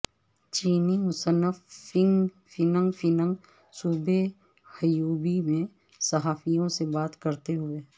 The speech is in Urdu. چینی مصنف فینگ فینگ صوبے ہیوبی میں صحافیوں سے بات کرتے ہوئے